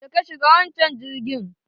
Je ka shiga wanchan girgin